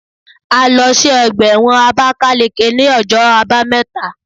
A lọ sí ọgbà ẹ̀wọ̀n Abákáleke ní ọjọ́ àbámẹ́ta